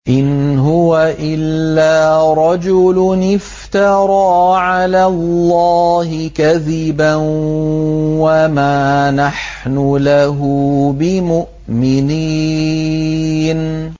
إِنْ هُوَ إِلَّا رَجُلٌ افْتَرَىٰ عَلَى اللَّهِ كَذِبًا وَمَا نَحْنُ لَهُ بِمُؤْمِنِينَ